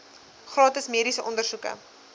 gratis mediese ondersoeke